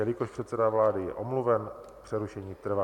Jelikož předseda vlády je omluven, přerušení trvá.